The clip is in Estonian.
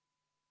Aitäh!